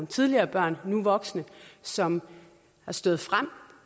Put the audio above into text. tidligere børn nu voksne som har stået frem